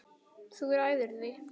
Þú ræður því.